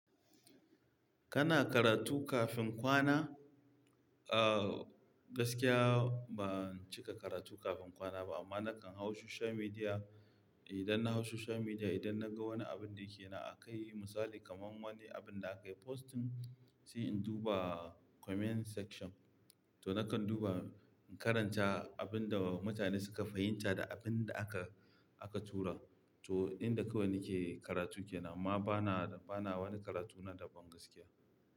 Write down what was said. Kana karatu kafin kwana? Uh, gaskiya ba cika karatu kafin kwana ba amma nakan hau social media. Idan na hau social media, idan na ga wani abin da yake na a kai misali kamar wani abin da aka yi posting, sai in duba comment section. To nakan duba in karanta abin da mutane suka fahimta da abin da aka, aka tura. To, inda kowani ke karatu ke nan amma bana, bana wani karatu na daban gaskiya.